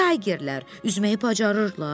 Bəs Taygerlər üzməyi bacarırlar?